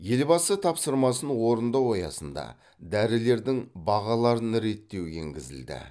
елбасы тапсырмасын орындау аясында дәрілердің бағаларын реттеу енгізілді